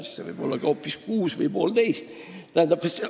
Jah, see võib olla ka hoopis kuus või poolteist kuud.